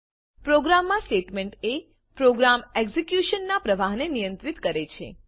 પ્રોગ્રામમાં સ્ટેટમેંટ એ પ્રોગ્રામ એક્ઝેક્યુશનનાં પ્રવાહને નિયંત્રીત કરે છે